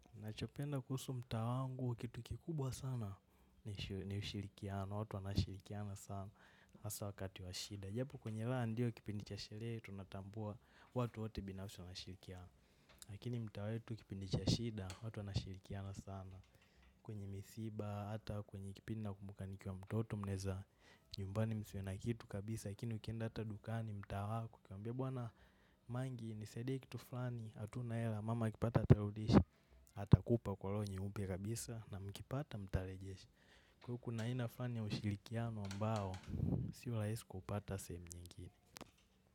Nachopenda kuhusu mtaa wangu kitu kikubwa sana ni ushirikiano, watu wanashirikiana sana asa wakati wa shida japo kwenye raha ndio kipindi cha sherehe tunatambua watu wote binafsi wanashirikiana. Lakini mtaa wetu kipindi cha shida, watu wanashirikiana sana. Kwenye misiba, ata kwenye kipindi nakumbukaniki wa mtoto mneza nyumbani msiwe na kitu kabisa lakini hata ukienda dukani maani unatmwambia mangi nisaidie kitu flani hatuna hela mama akipata atarudisha. Atakupa kwa loho nyeupe kabisa na mkipata mtarejeshi kwa huo kuna aina flani ya ushirikiano ambayo sio laisi kupata sehemu nyingine.